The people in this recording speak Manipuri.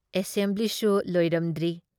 ꯑꯦꯁꯦꯝꯕ꯭ꯂꯤꯁꯨ ꯂꯣꯏꯔꯝꯗ꯭ꯔꯤ ꯫